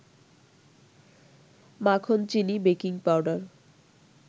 মাখন, চিনি, baking powder